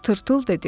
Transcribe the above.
Tırtıl dedi.